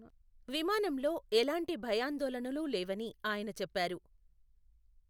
విమానంలో ఎలాంటి భయాందోళనలు లేవని ఆయన చెప్పారు.